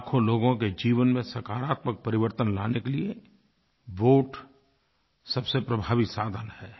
लाखों लोगों के जीवन में सकारात्मक परिवर्तन लाने के लिए वोट सबसे प्रभावी साधन है